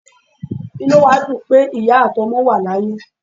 Inú wa dún pe iya atí ọmọ wa layé